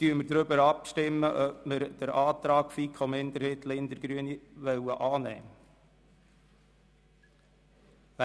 Jetzt stimmen wir darüber ab, ob wir den Antrag FiKoMinderheit und Grüne/Linder annehmen wollen.